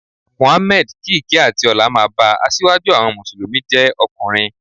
Mohammed (kí ìkẹ́ àti ọlá máa ba), asíwájú àwọn Mùsùlùmí jẹ́ ọkùnrin.